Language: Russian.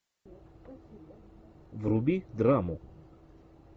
вруби драму